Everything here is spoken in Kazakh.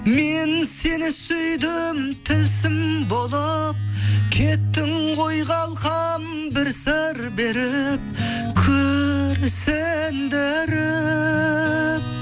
мен сені сүйдім болып кеттің ғой қалқам бір сыр беріп күрсіндіріп